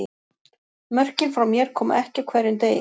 Mörkin frá mér koma ekki á hverjum degi.